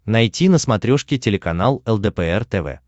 найти на смотрешке телеканал лдпр тв